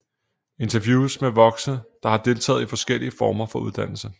Interviews med voksne der har deltaget i forskellige former for uddannelse